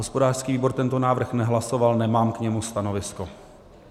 Hospodářský výbor tento návrh nehlasoval, nemám k němu stanovisko.